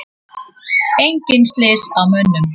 Engin slys á mönnum.